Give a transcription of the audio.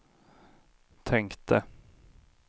tänkte